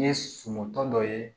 Ni ye suman tɔ dɔ ye